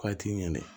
Ko a t'i ŋɛnɛ